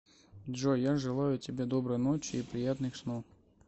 джой я желаю тебе доброй ночи и приятных снов